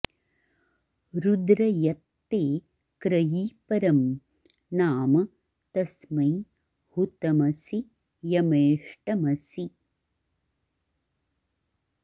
रुद्र॒ यत्ते॒ क्रयी॒ परं॒ नाम॒ तस्मै॑ हु॒तम॑सि य॒मेष्ट॑मसि